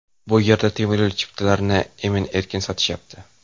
Bu yerda temiryo‘l chiptalarini emin-erkin sotishyapti.